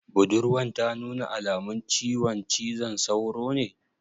Budurwan ta nuna alamun ciwon cizon sauro ne?